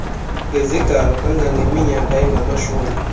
ngezigalo kangangeminyaka engamashumi